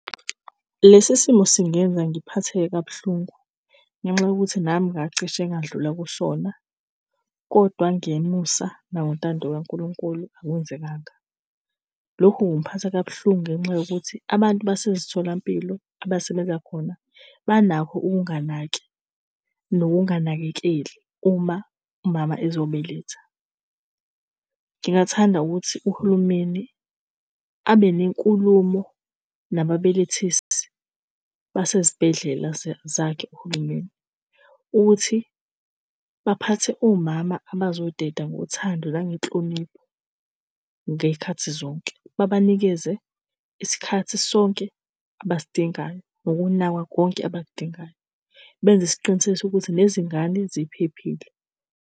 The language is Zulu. Lesi simo singenza ngiphatheke kabuhlungu ngenxa yokuthi nami ngacishe ngadlula kusona kodwa ngemusa nangentando kaNkulunkulu, akwenzekanga. Lokhu kungiphatha kabuhlungu ngenxa yokuthi abantu basezitholampilo abasebenza khona, banakho ukunganaki nokunganakekeli uma umama ezobeletha. Ngingathanda ukuthi uhulumeni abe nenkulumo nababelethisi basezibhedlela zakhe uhulumeni ukuthi baphathe omama abazoteta ngothando nangenhlonipho ngeyikhathi zonke. Babanikeze isikhathi sonke abasidingayo nokunakwa konke abakudingayo, benze isiqinisekiso ukuthi nezingane ziphephile.